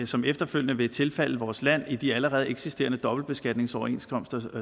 som efterfølgende vil tilfalde vores land i de allerede eksisterende dobbeltbeskatningsoverenskomster